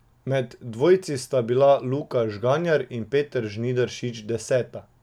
Med dvojci sta bila Luka Žganjar in Peter Žnidaršič deseta.